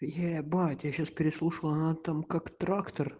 ебать я сейчас переслушал она там как трактор